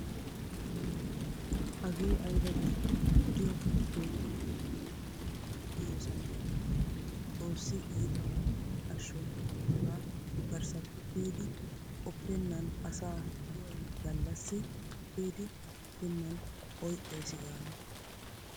Hagee ayba biitte wodiyawukka keetti keexettanwu diyoosa malatenna. Xoossi iitabappe ashsho hagaa garssappe kiyidi qoppennan asaa do'aynngallassi kiyidi akeekennan oyqqaysi gaana.